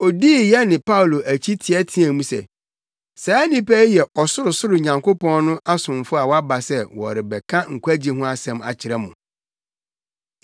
Odii yɛne Paulo akyi teɛteɛɛ mu se, “Saa nnipa yi yɛ Ɔsorosoroni Nyankopɔn no asomfo a wɔaba sɛ wɔrebɛka nkwagye ho asɛm akyerɛ mo.”